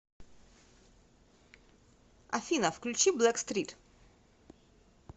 афина включи блэкстрит